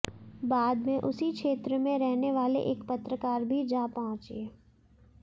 बाद में उसी क्षेत्र में रहने वाले एक पत्रकार भी जा पहुंचे